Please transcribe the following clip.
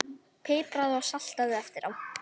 Pipraðu og saltaðu eftir á.